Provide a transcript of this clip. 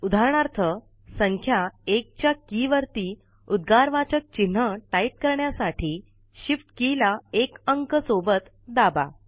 उदाहरणार्थ संख्या १ च्या के वरती उद्गारवाचक चिन्ह टाईप करण्यासाठी shift के ला १ अंक सोबत दाबा